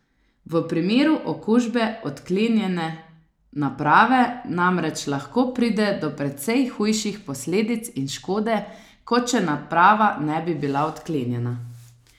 V primeru okužbe odklenjene naprave namreč lahko pride do precej hujših posledic in škode, kot če naprava ne bi bila odklenjena.